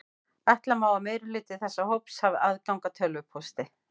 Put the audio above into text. Ætla má að meirihluti þessa hóps hafi aðgang að tölvupósti.